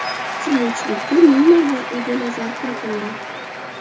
Kuchli uchlikka Neymar va Eden Azar kiritildi.